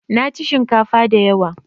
Naci shinkafa da yawa